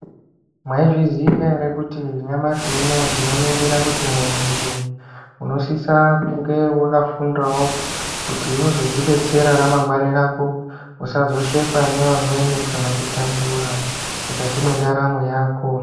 Mwaizviziya ere Kuti nyamashi unowu tinoningira kuti muntu nje unosisa kunge wakafundawo kuti uzodzibetsera ramangwani rako usazoshekwa nevamweni kana kutambura mukati mwendaramo Yako.